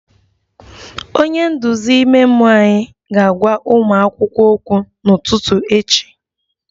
Onye nduzi ime mmụọ anyị ga-agwa ụmụ akwụkwọ okwu n'ụtụtụ echi